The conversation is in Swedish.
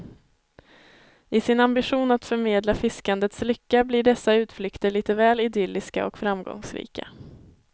I sin ambition att förmedla fiskandets lycka blir dessa utflykter lite väl idylliska och framgångsrika.